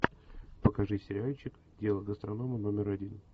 покажи сериальчик дело гастронома номер один